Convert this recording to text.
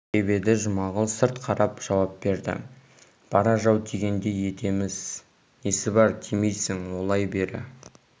деп еді жұмағұл сырт қарап жауап берді бара жау тигендей етеміз несі бар тимейсің олай бері